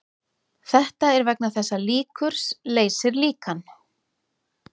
Þetta er vegna þess að líkur leysir líkan.